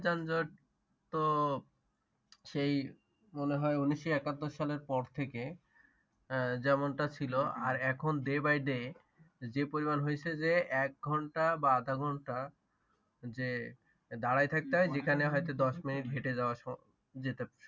যেমনটা ছিল আর এখন day by day যে পরিমাণ হইছে যে এক ঘন্টা বা আধা ঘন্টা যে দাঁড়াই থাকতে হয় যেখানে হয়তো দশ মিনিট হেঁটে যাওয়া যেতে পারে